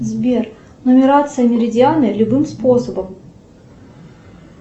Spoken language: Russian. сбер нумерация меридиана любым способом